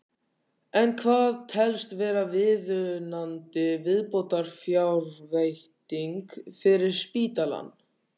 En hvað telst vera viðunandi viðbótarfjárveiting fyrir spítalann?